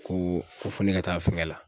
Ko fɔ ne ka taa fɛnkɛ la.